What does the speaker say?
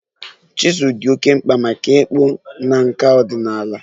Chizul dị oké mkpa maka ịkpụ na nkà ọdịnala